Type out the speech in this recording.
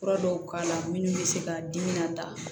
Fura dɔw k'a la minnu bɛ se k'a dimi nata